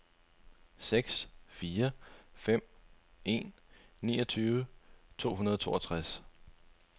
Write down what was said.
seks fire fem en niogtyve to hundrede og toogtres